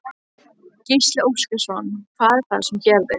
Gísli Óskarsson: Hvað er það sem gerðist?